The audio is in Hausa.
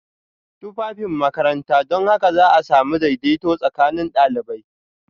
Tufafin makaranta don haka za a sami daidaito tsakanin ɗalibai